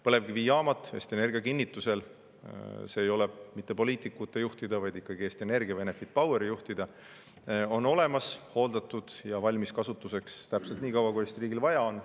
Põlevkivijaamad Eesti Energia kinnitusel – see ei ole mitte poliitikute juhtida, vaid ikkagi Eesti Energia või Enefit Poweri juhtida – on olemas, hooldatud ja valmis kasutamiseks täpselt nii kaua, kui Eesti riigil vaja on.